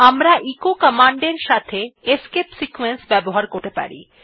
আমরা এচো কমান্ডের সঙ্গে এসকেপ সিকোয়েন্স ব্যবহার করতে পারি